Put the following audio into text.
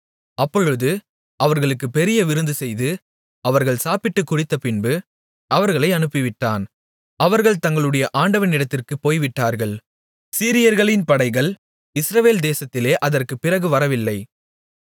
அப்பொழுது அவர்களுக்குப் பெரிய விருந்துசெய்து அவர்கள் சாப்பிட்டுக் குடித்தபின்பு அவர்களை அனுப்பிவிட்டான் அவர்கள் தங்களுடைய ஆண்டவனிடத்திற்குப் போய்விட்டார்கள் சீரியர்களின் படைகள் இஸ்ரவேல் தேசத்திலே அதற்குப் பிறகு வரவில்லை